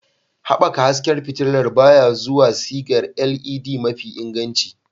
Haɓaka hasken fitilar baya zuwa sigar LED mafi inganci.